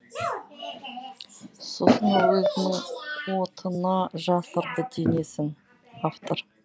сосын ол өзінің отына жасырды денесін автор